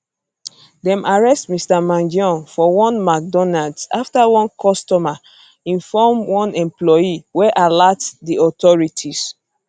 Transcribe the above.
dem arrest mr mangione for one mcdonalds afta one customer inform one employee wey alert di authorities